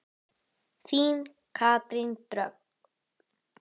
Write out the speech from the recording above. Sundið í ánni Nið